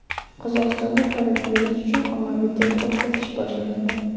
Qozog‘istonda koronavirus uchun ommaviy test o‘tkazish boshlanadi.